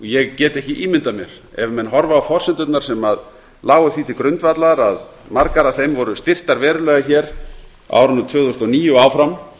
ég get ekki ímyndað mér ef menn horfa á forsendurnar sem lágu því til grundvallar að margar af þeim voru styrktar verulega hér á árinu tvö þúsund og níu og áfram